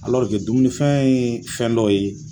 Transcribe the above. dumunifɛn ye fɛn dɔ ye